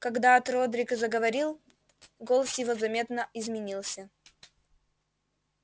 когда от родрик заговорил голос его заметно изменился